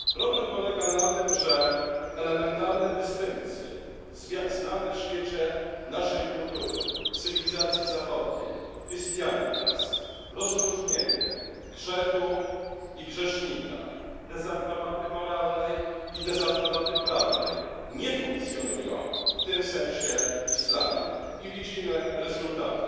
Problem polega na tym, że elementarne dystynkcje znane w świecie naszej kultury, cywilizacji zachodniej, christianitas rozróżnienie grzechu i grzesznika, dezaprobaty moralnej i dezaprobaty prawnej nie funkcjonują w tym sensie w islamie, i widzimy rezultaty.